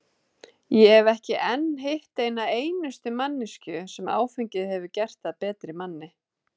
Ég hef ekki enn hitt eina einustu manneskju sem áfengið hefur gert að betri manni.